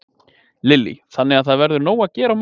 Lillý: Þannig að það verður nóg að gera á morgun?